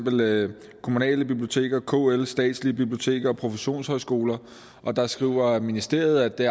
af kommunale biblioteker kl statslige biblioteker og professionshøjskoler der skriver ministeriet at det